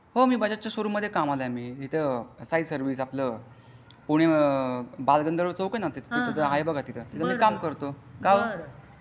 हो मी बजाज चा शोरूम मध्ये कमला आहे मी तिथे आहे साई सर्विसेस आपला पुणे आपला बालगंधर्व चॉक आहे ना तिथे ते आहे ना तिथे आहे बघा तिथे मी काम करतो.